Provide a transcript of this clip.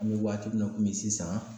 An bɛ waati min na komi sisan